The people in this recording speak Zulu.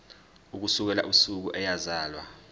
ukusukela usuku eyazalwa